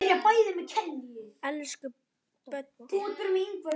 Elsku Böddi.